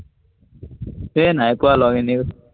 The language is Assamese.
সেই নাই পোৱা লগ, এনেই কৈছো।